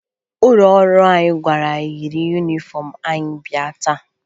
Ụlọ ọrụ anyị gwara anyị yiri yunifọmụ anyị bịa taa